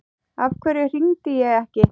Af hverju hringdi ég ekki?